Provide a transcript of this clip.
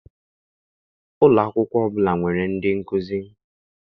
Ụlọakwụkwọ ọbụla nwere ndị nkụzi